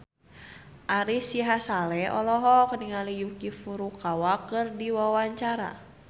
Ari Sihasale olohok ningali Yuki Furukawa keur diwawancara